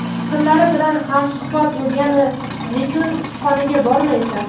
fikrlari bilan hamsuhbat bo‘lgani nechun kutubxonaga bormaysan?!.